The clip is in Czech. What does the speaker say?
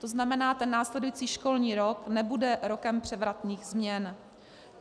To znamená, ten následující školní rok nebude rokem převratných změn.